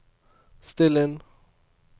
still inn